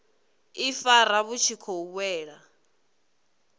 ifara vhu tshi khou wela